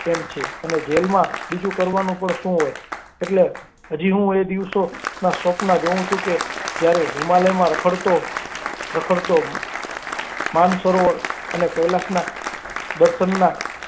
તેમ છે અને જેલમાં બીજ કરવાનું પણ શું હોય? એટલે કે હું એ દિવસનાં સ્વપ્નાં જોઉં છું કે જ્યારે હિમાલયમાં રખડતો રખડતો માનસરોવર અને કૈલાસ ના દર્શનના.